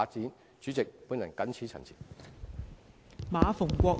代理主席，我謹此陳辭。